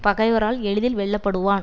பகைவரால் எளிதில் வெல்ல படுவான்